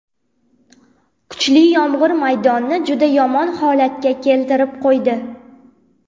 Kuchli yomg‘ir maydonni juda yomon holatga keltirib qo‘ydi.